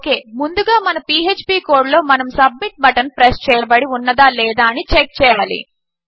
okay ముందుగా మన PHP code లో మనము సబ్మిట్ బటన్ ప్రెస్ చేయబడి ఉన్నదా లేదా అని చెక్ చేయాలి